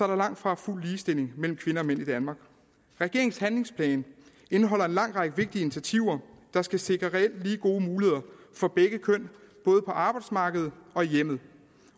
der langtfra fuld ligestilling mellem kvinder og mænd i danmark regeringens handlingsplan indeholder en lang række vigtige initiativer der skal sikre reelt lige gode muligheder for begge køn både på arbejdsmarkedet og i hjemmet